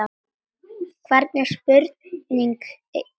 Hvernig spurning hér, ha?